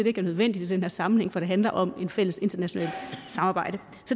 ikke er nødvendigt i den her sammenhæng for det handler om et fælles internationalt samarbejde